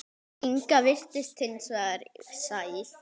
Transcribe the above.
Inga virtist hins vegar sæl.